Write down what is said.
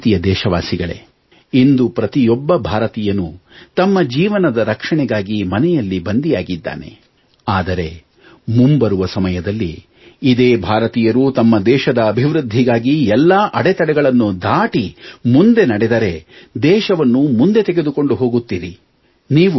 ನನ್ನ ಪ್ರೀತಿಯ ದೇಶವಾಸಿಗಳೇ ಇಂದು ಪ್ರತಿಯೊಬ್ಬ ಭಾರತೀಯನೂ ತಮ್ಮ ಜೀವನದ ರಕ್ಷಣೆಗಾಗಿ ಮನೆಯಲ್ಲಿ ಬಂದಿಯಾಗಿದ್ದಾನೆ ಆದರೆ ಮುಂಬರುವ ಸಮಯದಲ್ಲಿ ಇದೇ ಭಾರತೀಯರು ತಮ್ಮ ದೇಶದ ಅಭಿವೃದ್ಧಿಗಾಗಿ ಎಲ್ಲಾ ಅಡೆತಡೆಗಳನ್ನೂ ದಾಟಿ ಮುಂದೆ ನಡೆದರೆ ದೇಶವನ್ನು ಮುಂದೆ ತೆಗೆದುಕೊಂಡು ಹೋಗುತ್ತೀರಿ